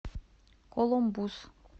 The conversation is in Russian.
колумбус